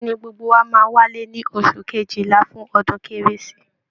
Bẹ́ẹ̀ ni, gbogbo wa máa wálé ní oṣù kejìlà fún ọdún Kérésì